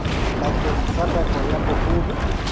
bakeng sa nako ya boholo